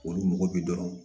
Olu mɔgɔ bi dɔrɔn